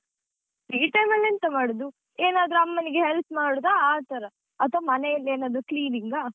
Free time ಅಲ್ಲಿ ಎಂತ ಮಾಡುದು ಏನಾದ್ರೂ ಅಮ್ಮನಿಗೆ help ಮಾಡುದ ಆತರ ಅಥ್ವ ಮನೆಯಲ್ಲಿ ಏನಾದ್ರೂ cleaning ಗ.